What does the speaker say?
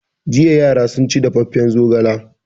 Jiya yara sun ci dafaffen zogala.